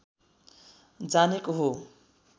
जानेको हो